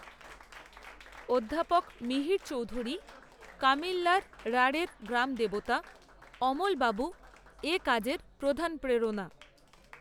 অধ্যাপক, মিহির চৌধুরী, কামিল্যার রাঢ়ের গ্রামদেবতা, অমলবাবুর, এ কাজের প্রধান প্রেরণা